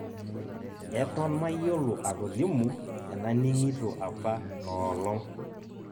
Eton mayiolo atolimu enaning'ito apa noolong'